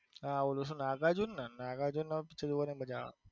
હા ઓલો સુ નાગાર્જુન નો જોવની મજા આવે.